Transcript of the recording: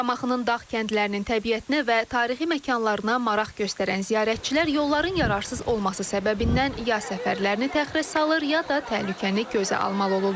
Şamaxının dağ kəndlərinin təbiətinə və tarixi məkanlarına maraq göstərən ziyarətçilər yolların yararsız olması səbəbindən ya səfərlərini təxirə salır, ya da təhlükəni gözə almalı olurlar.